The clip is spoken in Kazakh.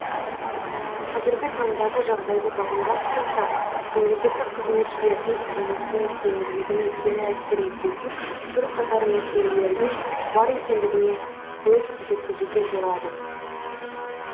қазіргі таңдағы жағдайды бағымдап қарасақ мемлекеттік қызметшілердің жұмысының тиімділігіне кері әсер ететін бір қатар мәселелердің бар екендігіне көз жеткізуге болады